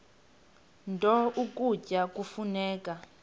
nto ukutya kufuneka